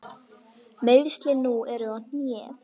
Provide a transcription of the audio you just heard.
Meiðslin nú eru á hné.